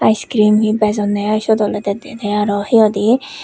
ice cream he bejonne ai siot olode dede he hoide.